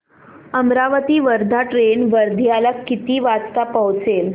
Amravati Wardha train वर्ध्याला किती वाजता पोहचेल